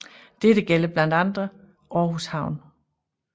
Dette gælder blandt andre Aarhus havn